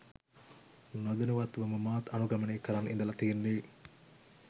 නොදැනුවත්වම මාත් අනුගමනය කරන් ඉඳල තියෙන්නෙ